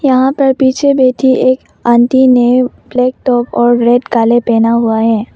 यहां पर पीछे बैठी एक आंटी ने ब्लैक टॉप और रेड काले पहना हुआ है।